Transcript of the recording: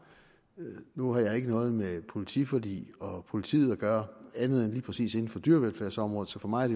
nu har jeg ikke noget med politiforliget og politiet at gøre andet end lige præcis inden for dyrevelfærdsområdet så for mig er